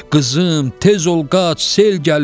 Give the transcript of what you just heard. Qızım, tez ol qaç, sel gəlir!